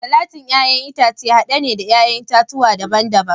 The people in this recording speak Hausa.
salatin 'ya'yan itace hade ne na 'ya'yan itatuwa daban-daban